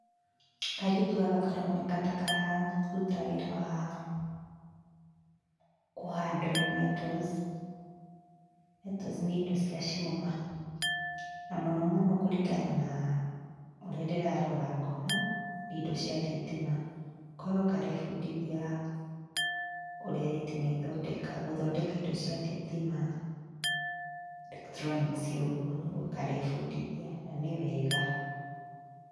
Kairĩtu gaka karoneka ta kararuta wĩra wa kũ handle metals, metals nĩ indo cia cuma. Na mũno mũno kũringana na ũrĩa ndĩrarora ngona, nĩ indo cia thitima, korwo karebundithia ũrĩa thitima ithondekagwo, gũthondeka indo cia thitima, electronics ũguo nĩguo karebundithia, na nĩ wega.